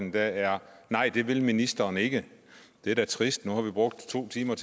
i dag er nej det vil ministeren ikke det er da trist nu har vi brugt to timer